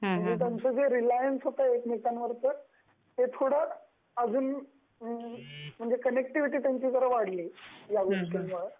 म्हणजे त्यांच जे रिलायंस होत एकमेकांवर ते म्हणजे त्यांची कनेक्टिविटी थोड़ी वाढली या गोष्ट्टीमुळं.